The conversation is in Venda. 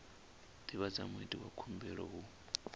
divhadza muiti wa khumbelo hu